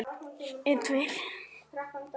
Gjár eru í því.